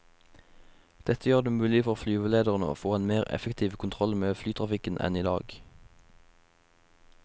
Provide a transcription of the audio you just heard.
Dette gjør det mulig for flyvelederne å få en mer effektiv kontroll med flytrafikken enn i dag.